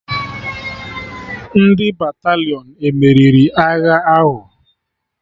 Ndị Batalịọn emeriri agha ahụ?